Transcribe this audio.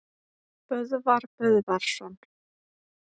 Böðvar Böðvarsson